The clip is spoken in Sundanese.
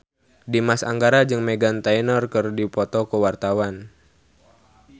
Dimas Anggara jeung Meghan Trainor keur dipoto ku wartawan